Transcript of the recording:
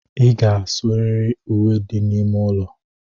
Ị ga-asụrịrị uwe dị n'ime ụlọ